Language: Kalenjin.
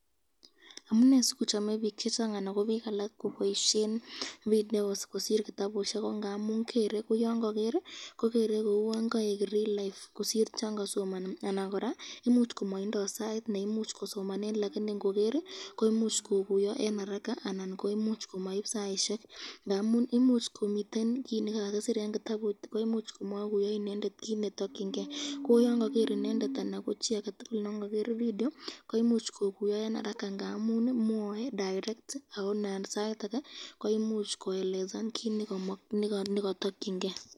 Amune sikochame bik chechang anan ko bik alak koboisyen video kosir kitabusyek ko ngamun kere ko yon ka ger kouon kaek life ,kosir chon kasomani anan koraa koimuch komaindo sait neimuchi kosomanen lakini ngoger , koimuch kokuyo eng haraka anan koimuch komaib saisyek ngamun imuch komiten kit nekakisir eng kitabut komakuyi inendet kit netokyinke ko yon kagere inendet video komuch kokuyo eng haraka ngamun mwae direct ako Nan sait ake koelezan kit nekatakyinke .